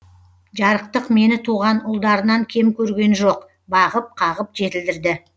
жарықтық мені туған ұлдарынан кем көрген жоқ бағып қағып жетілдірді